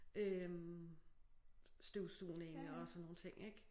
Øh støvsugning og sådan nogle ting ik